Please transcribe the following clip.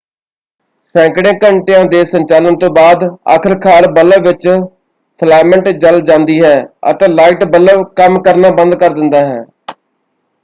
ਸੈਂਕੜੇ ਘੰਟਿਆਂ ਦੇ ਸੰਚਾਲਨ ਤੋਂ ਬਾਅਦ ਆਖਰਕਾਰ ਬੱਲਬ ਵਿੱਚ ਫਿਲਾਮੈਂਟ ਜਲ ਜਾਂਦੀ ਹੈ ਅਤੇ ਲਾਈਟ ਬੱਲਬ ਕੰਮ ਕਰਨਾ ਬੰਦ ਕਰ ਦਿੰਦਾ ਹੈ।